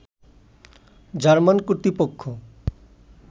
German কর্তৃপক্ষ